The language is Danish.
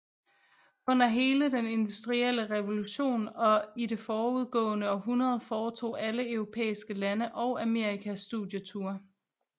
Under hele den industrielle revolution og i det forudgående århundrede foretog alle europæiske lande og Amerika studieture